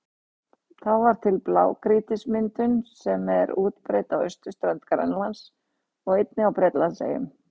Þá varð til blágrýtismyndunin sem er útbreidd á austurströnd Grænlands og einnig á Bretlandseyjum.